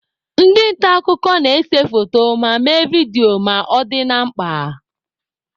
Ndị nta akụkọ na-ese foto ma mee vidio ma ọ dị na mkpa.